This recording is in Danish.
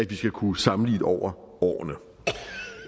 vi skal kunne sammenligne over årene